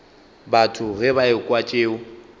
batho ge ba ekwa tšeo